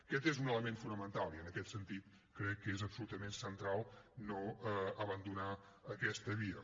aquest és un element fonamental i en aquest sentit crec que és absolutament central no abandonar aquesta via